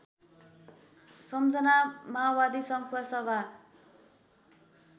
सम्झना माओवादी संखुवासभा